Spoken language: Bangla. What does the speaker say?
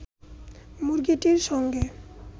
মুরগীটির সঙ্গে